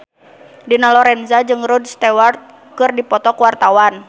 Dina Lorenza jeung Rod Stewart keur dipoto ku wartawan